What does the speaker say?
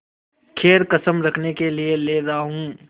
खैर कसम रखने के लिए ले रहा हूँ